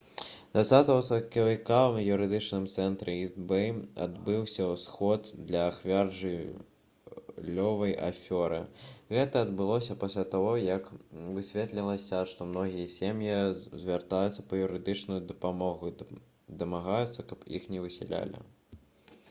20 сакавіка ў юрыдычным цэнтры іст-бэй адбыўся сход для ахвяр жыллёвай афёры гэта адбылося пасля таго як высветлілася што многія сем'і звяртаюцца па юрыдычную дапамогу і дамагаюцца каб іх не высялялі